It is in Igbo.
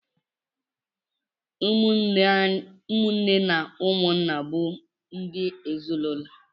ụmụ nne na ụmụ nna bụ ndị ezinụlọ.